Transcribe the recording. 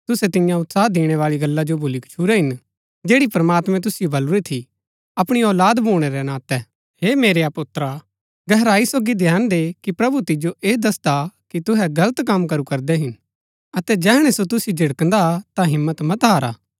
तुसै तिन्या उत्साह दिणै बाळी गल्ला जो भुली गच्छुरै हिन जैड़ी प्रमात्मैं तुसिओ बलुरी थी अपणी औलाद भूणै रै नातै हे मेरेआ पुत्र गहराई सोगी ध्यान दे कि प्रभु तिजो ऐह दसदा हा कि तुहै गलत कम करू करदै हिन अतै जैहणै सो तुसिओ झिड़कदा हा ता हिम्मत मत हारा